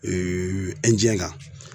kan